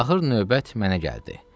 Axır növbət mənə gəldi.